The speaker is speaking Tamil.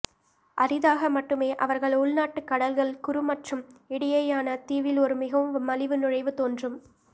அரிதாக மட்டுமே அவர்கள் உள்நாட்டு கடல்கள் குறு மற்றும் இடையேயான தீவில் ஒரு மிகவும் மலிவு நுழைவு தோன்றும்